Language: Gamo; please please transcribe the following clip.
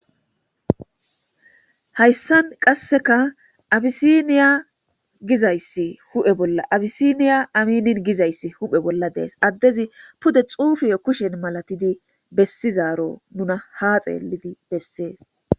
Hayssan qasseka abyssinia gizayssi hu'e bolla abyssinia ameen gizayssi hu'e bolla de'es addezi pude xuufiyo kushen malatidi besiizaro nuna ha xeelidi besees.